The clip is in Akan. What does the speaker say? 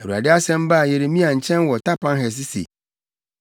Awurade asɛm baa Yeremia nkyɛn wɔ Tapanhes se,